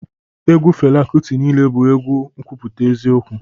Egwu Fela Kuti niile bụ abụ n'ekwuputa eziokwu